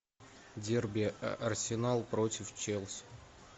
дерби арсенал против челси